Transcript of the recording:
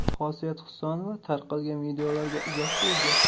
Xosiyat Husanova tarqalgan videolariga izoh berdi.